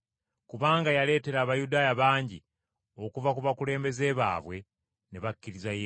kubanga yaleetera Abayudaaya bangi okuva ku bakulembeze baabwe ne bakkiriza Yesu.